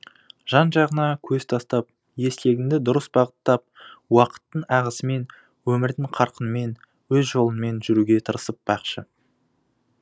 жан жағыңа көз тастап ескегіңді дұрыс бағыттап уақыттың ағысымен өмірдің қарқынымен өз жолыңмен жүруге тырысып бақшы